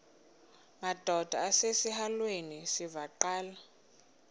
madod asesihialweni sivaqal